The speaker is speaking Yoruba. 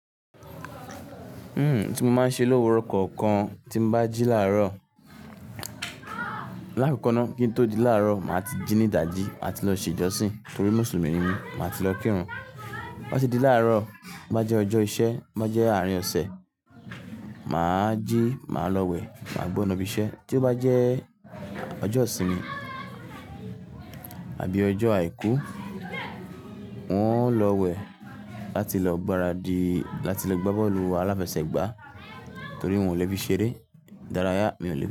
Hmm, tí mo máa ń ṣe lówó ọkọ kan tí bá jí láàárọ̀. Lákokoná kí n tó di láàárọ̀, màá ti jí ní idàjí, màá ti lọ ṣe ìjọsìn torí Mùsùlùmí ni mí, màá ti lọ kírun. Tí ó bá ti di láàárọ̀, tí ó bá jẹ́ ọjọ́ iṣẹ́, to óba jẹ́ àárín ọ̀sẹ̀, màá jí, màá lọ wẹ̀, màá gbọ́ nàbì iṣẹ́. Tí ó bá jẹ́ ọjọ́ ìsinmi àbí ọjọ́ àìkú, n ó lọ wẹ̀ láti lọ gbáradì láti lọ gbá bọ́ọ̀lù aláfẹsẹ̀gbá torí wọn ò le fi ṣeré. Idárayá, mi ò le tọ́